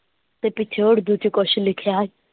ਤੇ ਪਿੱਛੇ ਊਰਦੂ ਵਿੱਚ ਕੁਝ ਲਿਖਿਆ।